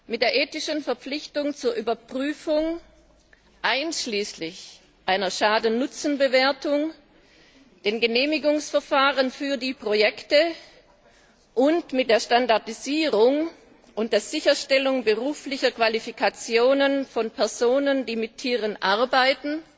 Mit der ethischen Verpflichtung zur Überprüfung einschließlich einer Schaden Nutzen Bewertung, dem Genehmigungsverfahren für die Projekte, und mit der Standardisierung und der Sicherstellung beruflicher Qualifikationen von Personen, die mit Tieren arbeiten,